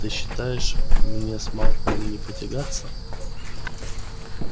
ты считаешь мне с малфоем не потягаться